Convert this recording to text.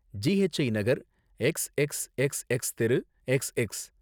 GHI நகர், x x x x தெரு, x X.